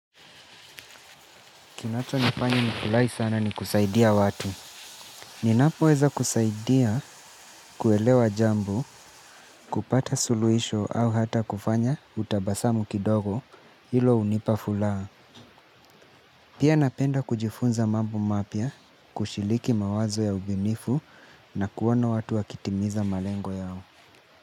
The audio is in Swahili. Kinacho nifanya nifurahi sana ni kusaidia watu. Ninapo weza kusaidia kuelewa jambo, kupata suluhisho au hata kufanya utabasamu kidogo hilo hunipa furaha. Pia napenda kujifunza mambo mapya, kushiriki mawazo ya ubuniu na kuona watu wakitimiza malengo yao.